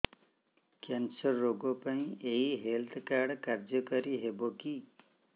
cancer ରୋଗ ପାଇଁ ଏଇ ହେଲ୍ଥ କାର୍ଡ କାର୍ଯ୍ୟକାରି ହେବ କି